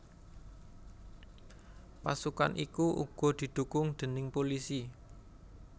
Pasukan iku uga didhukung déning pulisi